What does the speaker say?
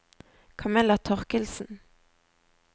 Kamilla Torkildsen